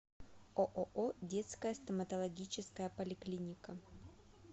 ооо детская стоматологическая поликлиника